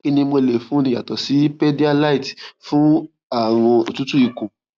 kí ni mo lè fúnni yàtọ sí pédíályte fún àrùn otutu ikun